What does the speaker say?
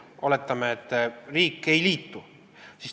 Oletame, et riik ei liitu.